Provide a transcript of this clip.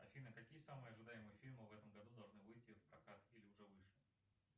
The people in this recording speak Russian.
афина какие самые ожидаемые фильмы в этом году должны выйти в прокат или уже вышли